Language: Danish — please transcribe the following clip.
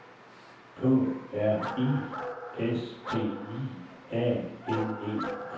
K R I S T I A N E